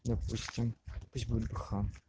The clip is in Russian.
допустим пусть будет бх